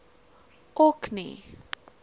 orkney